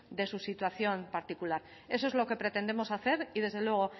de su situación particular eso es lo que pretendemos hacer y desde luego